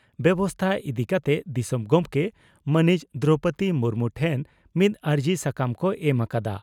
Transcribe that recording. ᱵᱮᱵᱚᱥᱛᱟ ᱤᱫᱤ ᱠᱟᱛᱮ ᱫᱤᱥᱚᱢ ᱜᱚᱢᱠᱮ ᱢᱟᱹᱱᱤᱡ ᱫᱨᱚᱣᱯᱚᱫᱤ ᱢᱩᱨᱢᱩ ᱴᱷᱮᱱ ᱢᱤᱫ ᱟᱹᱨᱡᱤ ᱥᱟᱠᱟᱢ ᱠᱚ ᱮᱢ ᱟᱠᱟᱫᱼᱟ ᱾